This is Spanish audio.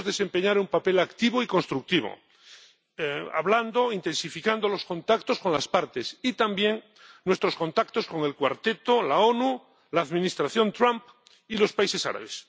Debemos desempeñar un papel activo y constructivo hablando, intensificando los contactos con las partes y también nuestros contactos con el Cuarteto, la ONU, la Administración Trump y los países árabes.